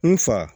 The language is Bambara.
N fa